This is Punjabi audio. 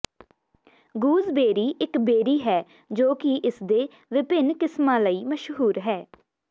ਗਊਜ਼ਬੇਰੀ ਇੱਕ ਬੇਰੀ ਹੈ ਜੋ ਕਿ ਇਸਦੇ ਵਿਭਿੰਨ ਕਿਸਮਾਂ ਲਈ ਮਸ਼ਹੂਰ ਹੈ